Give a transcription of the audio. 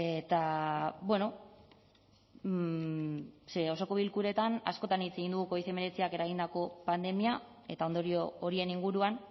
eta bueno ze osoko bilkuretan askotan hitz egin dugu covid hemeretziak eragindako pandemia eta ondorio horien inguruan